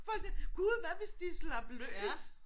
For det gud hvad hvis de slap løs